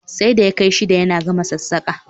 Sai da ya kai shida yana gama sassaƙa